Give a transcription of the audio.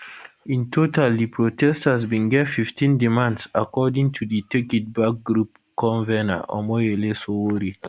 in total di protesters bin get 15 demands according to di take it back group convener omoyele sowore